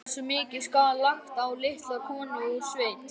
Hversu mikið skal lagt á litla konu úr sveit?